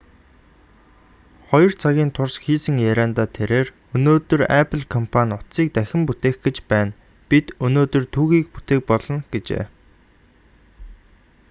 2 цагийн турш хийсэн яриандаа тэрээр өнөөдөр apple компани утсыг дахин бүтээх гэж байна бид өнөөдөр түүхийг бүтээх болно гэжээ